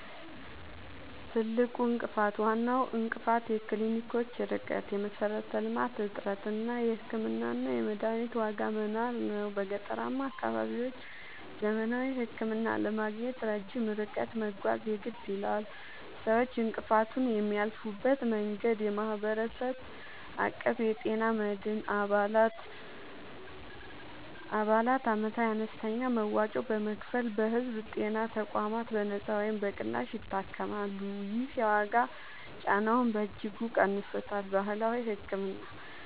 ትልቁ እንቅፋት፦ ዋናው እንቅፋት የክሊኒኮች ርቀት (የመሠረተ-ልማት እጥረት) እና የሕክምናና የመድኃኒት ዋጋ መናር ነው። በገጠራማ አካባቢዎች ዘመናዊ ሕክምና ለማግኘት ረጅም ርቀት መጓዝ የግድ ይላል። ሰዎች እንቅፋቱን የሚያልፉበት መንገድ፦ የማህበረሰብ አቀፍ የጤና መድን፦ አባላት ዓመታዊ አነስተኛ መዋጮ በመክፈል በሕዝብ ጤና ተቋማት በነጻ ወይም በቅናሽ ይታከማሉ። ይህ የዋጋ ጫናውን በእጅጉ ቀንሶታል። ባህላዊ ሕክምና፦